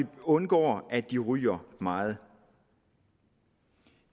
undgår at de ryger meget